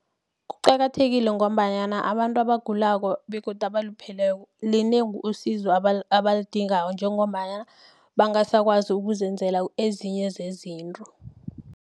Kuqakathekile ngombanyana abantu abagulako begodu abalupheleko linengi usizo abalidingako njengombana bangasakwazi ukuzenzela ezinye zezinto.